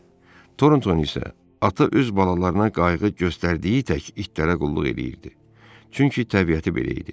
Toronton isə ata öz balalarına qayğı göstərdiyi tək itlərə qulluq eləyirdi, çünki təbiəti belə idi.